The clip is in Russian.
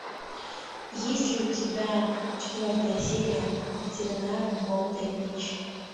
есть ли у тебя четвертая серия ветеринар бондай бич